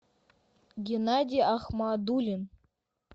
геннадий ахмадуллин